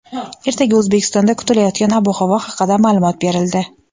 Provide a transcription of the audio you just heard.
Ertaga O‘zbekistonda kutilayotgan ob-havo haqida ma’lumot berildi.